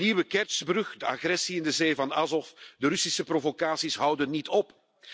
De nieuwe Kertsj brug, de agressie in de zee van Azov de Russische provocaties houden niet op.